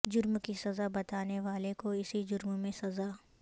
جرم کی سزا بتانے والے کو اسی جرم میں سزا